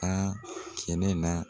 A kɛlɛ la.